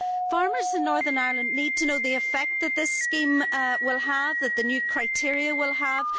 Farmers in Northern Ireland need to know the effect that this scheme and the new criteria will have.